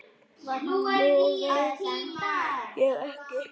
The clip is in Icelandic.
Nú veit ég ekki.